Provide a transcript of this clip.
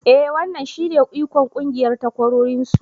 E wannan shine ikon ƙungiyar takwarorinsu.